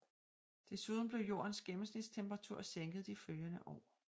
Desuden blev jordens gennemsnitstemperatur sænket de følgende år